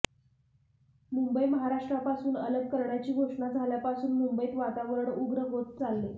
मुंबई महाराष्ट्रापासून अलग करण्याची घोषणा झाल्यापासून मुंबईत वातावरण उग्र होत चालले